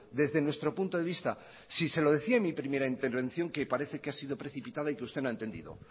desde nuestro punto de vista si se lo decía en mi primera intervención que parece que ha sido precipitada y que usted no ha entendido